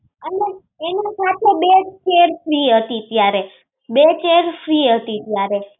એને સાથે બે chair free હતી ત્યારે, બે chair free હતી ત્યારે.